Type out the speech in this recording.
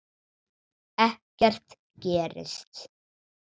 Ekkert gerist.